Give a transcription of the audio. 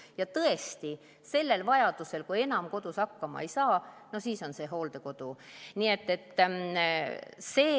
Ja tõesti sellel juhul, kui enam kodus hakkama ei saa, no siis on see hooldekodu.